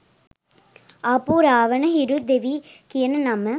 ආපු රාවන හිරු දෙවි කියන නම